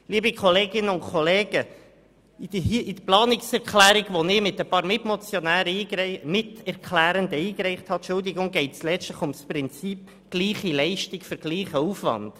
Liebe Kolleginnen und Kollegen, in der Planungserklärung, die ich mit ein paar Miterklärenden eingereicht habe, geht es letztlich um das Prinzip «gleiche Leistung für gleichen Aufwand».